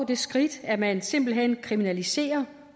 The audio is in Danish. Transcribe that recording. det skridt at man simpelt hen kriminaliserer